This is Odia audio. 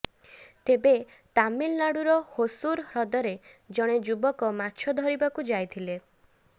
ତେବେ ତାମିଲନାଡିର ହୋସୁର ହ୍ରଦରେ ଜଣେ ଯୁବକ ମାଛ ଧରିବାକୁ ଯାଇଥିଲେ